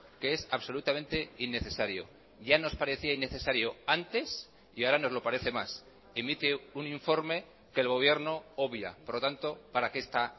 que es absolutamente innecesario ya nos parecía innecesario antes y ahora nos lo parece más emite un informe que el gobierno obvia por lo tanto para qué está